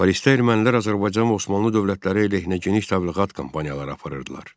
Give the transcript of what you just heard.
Parisdə ermənilər Azərbaycan və Osmanlı dövlətləri əleyhinə geniş təbliğat kampaniyaları aparırdılar.